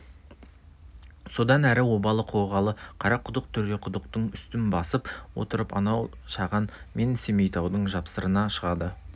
содан әрі обалы қоғалы қарақұдық төреқұдықтың үстін басып отырып анау шаған мен семейтаудың жапсарына шығады